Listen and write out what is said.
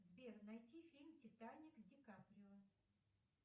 сбер найти фильм титаник с ди каприо